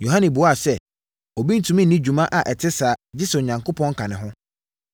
Yohane buaa sɛ, “Obi rentumi nni dwuma a ɛte saa gye sɛ Onyame ka ne ho.